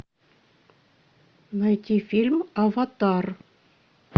найти фильм аватар